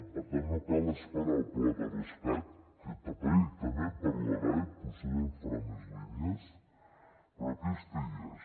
per tant no cal esperar el pla de rescat que també en parlarà i potser en farà més línies però aquesta hi és